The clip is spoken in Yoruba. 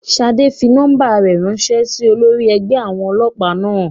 Ṣadé fi nọ́ọ́mbà rẹ̀ ránṣẹ́ sí olórí ẹgbẹ́ àwọn ẹlẹ́pà náà